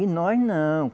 E nós não.